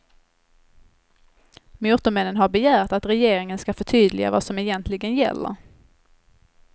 Motormännen har begärt att regeringen ska förtydliga vad som egentligen gäller.